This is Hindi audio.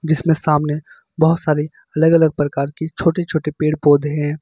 इसमें सामने बहोत सारे अलग अलग प्रकार की छोटे छोटे पेड़ पौधे हैं।